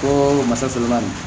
Ko masa sɔrɔ la